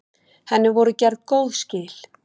Henni voru gerð góð skil.